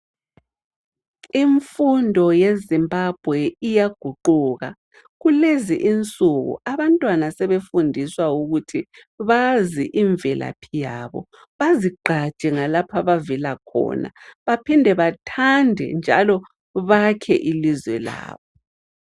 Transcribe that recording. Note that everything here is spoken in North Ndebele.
Imfundo yeZimbabwe iyaguquka. Kulezi insuku abantwana sebefundiswa ukuthi bazi imvelaphi yabo, baziqhaje ngalapho abavela khona ,baphinde bathande njalo bakhe ilizwe labo.